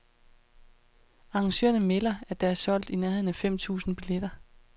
Arrangørerne melder, at der er solgt i nærheden af fem tusind billetter.